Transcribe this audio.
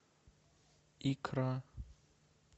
икра